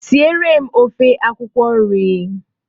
Siere m ofe akwụkwọ nri!